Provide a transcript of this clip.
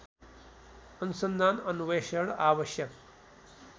अनुसन्धान अन्वेषण आवश्यक